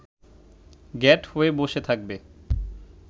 গ্যাঁট হয়ে বসে থাকবে